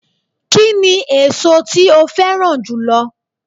Kíni èso tí o féràn jùlo